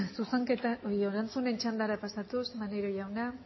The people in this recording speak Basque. zuzenketak erantzunen txandara pasatuz maneiro jauna